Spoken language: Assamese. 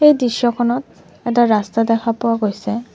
এই দৃশ্যখনত এটা ৰাস্তা দেখা পোৱা গৈছে।